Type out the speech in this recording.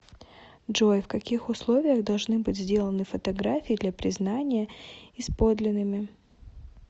джой в каких условиях должны быть сделаны фотографии для признания из подлинными